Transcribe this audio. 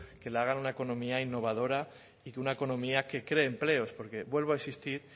que la hagan una economía innovadora y una economía que cree empleos porque vuelvo a insistir